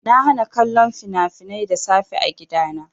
Na hana kallon fina-finai da safe a gidana.